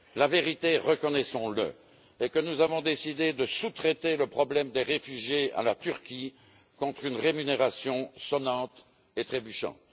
La vérité, reconnaissons le, est que nous avons décidé de sous traiter le problème des réfugiés à la Turquie contre une rémunération sonnante et trébuchante.